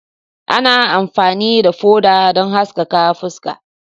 Ana amfani da foda don haskaka fuska.